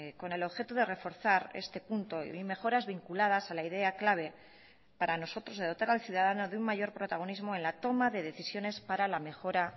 con el objeto de reforzar este punto y mejoras vinculadas a la idea clave para nosotros de dotar al ciudadano de un mayor protagonismo en la toma de decisiones para la mejora